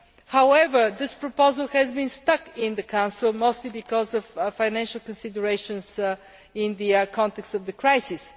However, this proposal has been stuck in the Council, mostly because of financial considerations in the context of the crisis.